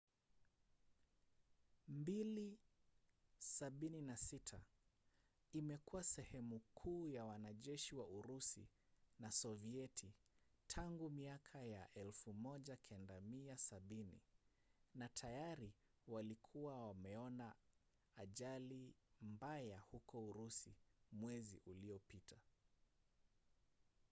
il-76 imekuwa sehemu kuu ya wanajeshi wa urusi na sovieti tangu miaka ya 1970 na tayari walikuwa wameona ajali mbaya huko urusi mwezi uliopita